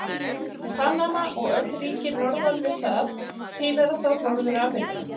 Panama og öll ríki norðan við það tilheyra þá Norður-Ameríku.